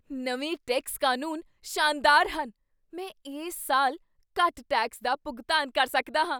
ਨਵੇਂ ਟੈਕਸ ਕਾਨੂੰਨ ਸ਼ਾਨਦਾਰ ਹਨ! ਮੈਂ ਇਸ ਸਾਲ ਘੱਟ ਟੈਕਸ ਦਾ ਭੁਗਤਾਨ ਕਰ ਸਕਦਾ ਹਾਂ!